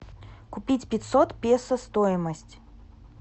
купить пятьсот песо стоимость